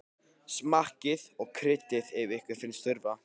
Smakkið og kryddið til ef ykkur finnst þurfa.